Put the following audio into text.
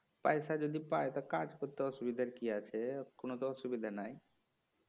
পয়সা যদি পায় তা কাজ করতে অসুবিধা কি আছে কোনো তো অসুবিধা নাই